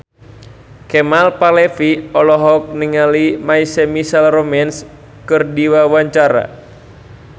Kemal Palevi olohok ningali My Chemical Romance keur diwawancara